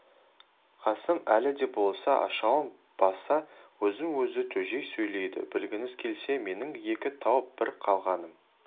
қасым әлі де болса ашуын баса өзін-өзі тежей сөйледі білгіңіз келсе менің екі туып бір қалғаным